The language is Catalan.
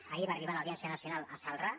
ahir va arribar l’audiència nacional a celrà